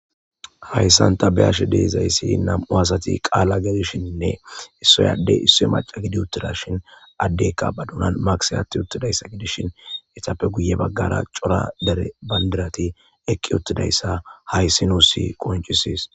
Hayssanta be ashe deezayssi nam7u asati qaala gedishinnne issoyadde isso maca gidi uttida shin addekka badunan makse atti uttidayssa gidishin etappe guye baggara cora dere bandirati eqqi uttidayssa hayssi nuussi qoncisis,